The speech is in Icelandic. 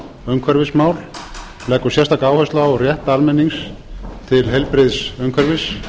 umhverfismál leggur sérstaka áherslu á rétt almennings til heilbrigðs umhverfis